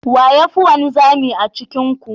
Wa ya fi wanzami a cikin ku?